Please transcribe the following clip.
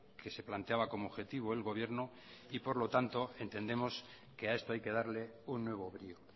que se planteaba como objetivo el gobierno y por lo tanto entendemos que a esto hay que darle un nuevo brío